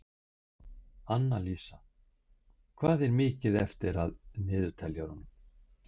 Annalísa, hvað er mikið eftir af niðurteljaranum?